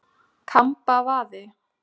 Kambavaði